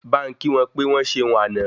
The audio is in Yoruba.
Bá n kí wọn pe wọ́n ṣeun àná